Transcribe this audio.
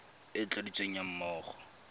e e tladitsweng ga mmogo